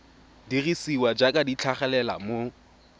dirisiwa jaaka di tlhagelela mo